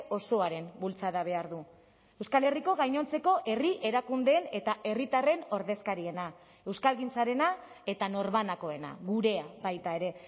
osoaren bultzada behar du euskal herriko gainontzeko herri erakundeen eta herritarren ordezkariena euskalgintzarena eta norbanakoena gurea baita ere